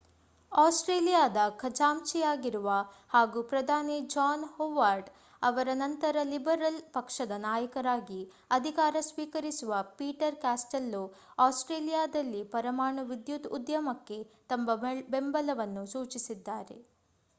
ಆಸ್ಟ್ರೇಲಿಯಾದ ಖಜಾಂಚಿಯಾಗಿರುವ ಹಾಗೂ ಪ್ರಧಾನಿ ಜಾನ್ ಹೊವಾರ್ಡ್ ಅವರ ನಂತರ ಲಿಬರಲ್ ಪಕ್ಷದ ನಾಯಕರಾಗಿ ಅಧಿಕಾರ ಸ್ವೀಕರಿಸುವ ಪೀಟರ್ ಕಾಸ್ಟೆಲ್ಲೊ ಆಸ್ಟ್ರೇಲಿಯಾದಲ್ಲಿ ಪರಮಾಣು ವಿದ್ಯುತ್ ಉದ್ಯಮಕ್ಕೆ ತಮ್ಮ ಬೆಂಬಲವನ್ನು ಸೂಚಿಸಿದ್ದಾರೆ